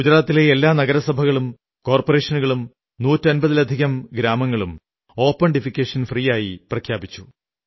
ഗുജറാത്തിൽ എല്ലാ നഗരസഭകളും കോർപ്പറേഷനുകളും നൂറ്റമ്പതിലധികം ഓപൺ ഡിഫെക്കേഷൻ ഫ്രീ ആയി പ്രഖ്യാപിച്ചു